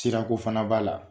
Sira ko fana b'a la.